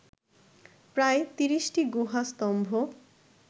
প্রায় ৩০টি গুহা স্তম্ভ